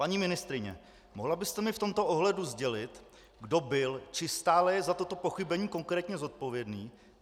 Paní ministryně, mohla byste mi v tomto ohledu sdělit, kdo byl či stále je za toto pochybení konkrétně zodpovědný?